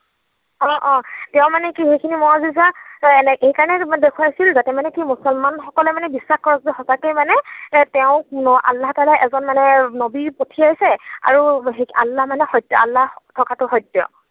অ, অ তেওঁ মানে কি সেইখিনি এই কাৰণেই দেখুৱাইছিল যাতে মানে কি মুছলমান সকলে মানে বিশ্বাস কৰক যে সঁচাকৈ মানে তেওঁক, আল্লাহ তালাই এজন মানে নৱী পঠিয়াইছে আৰু আল্লাহ মানে, আল্লাহ থকাটো সত্য।